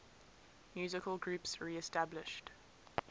musical groups reestablished